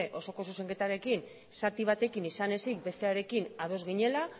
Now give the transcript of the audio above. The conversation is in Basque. osoko zuzenketarekin zati batekin izan ezik bestearekin ados ginela